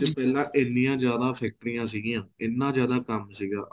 ਪਹਿਲਾਂ ਐਨੀਆਂ ਜਿਆਦਾ ਫ਼ੈਕਟਰੀਆਂ ਸੀਗੀਆ ਇਹਨਾ ਜਿਆਦਾ ਕੰਮ ਸੀਗਾ